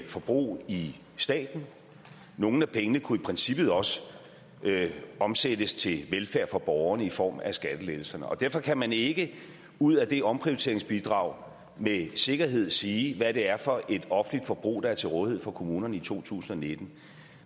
forbrug i staten og nogle af pengene kunne i princippet også omsættes til velfærd for borgerne i form af skattelettelserne derfor kan man ikke ud af det omprioriteringsbidrag med sikkerhed sige hvad det er for et offentligt forbrug der er til rådighed for kommunerne i to tusind og nitten